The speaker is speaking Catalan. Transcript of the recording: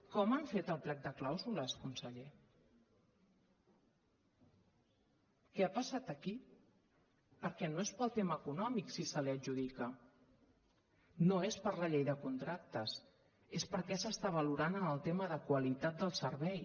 com han fet el plec de clàusules conseller què ha passat aquí perquè no és pel tema econòmic si se li adjudica no és per la llei de contractes és perquè s’està valorant en el tema de qualitat del servei